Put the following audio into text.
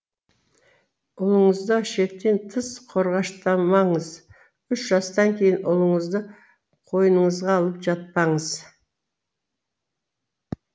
ұлыңызды шектен тыс қорғаштамаңыз үш жастан кейін ұлыңызды қойныңызға алып жатпаңыз